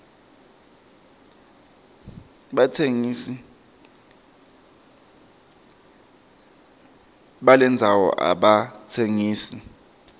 batsengisi balendzano abatsengisi